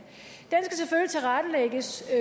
den skal